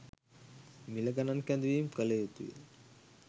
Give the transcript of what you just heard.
මිල ගනන් කැඳවීම කල යුතුය.